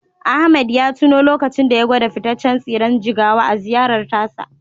Ahmed ya tuno lokacin da ya gwada fitaccen tsiren jigawa a ziyarar tasa.